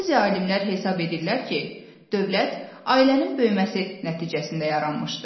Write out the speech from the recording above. Bəzi alimlər hesab edirlər ki, dövlət ailənin böyüməsi nəticəsində yaranmışdır.